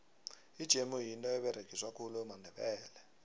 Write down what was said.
ijemu yinto eberegiswa khulu mandebele